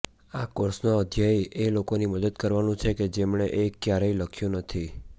આ કોર્સનો ધ્યેય એ લોકોની મદદ કરવાનું છે કે જેમણે એક ક્યારેય લખ્યું નથી